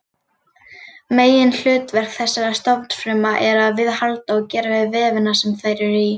Meginhlutverk þessara stofnfrumna er að viðhalda og gera við vefina sem þær eru í.